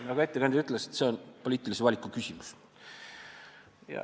Nagu ettekandja ütles, on see poliitilise valiku küsimus.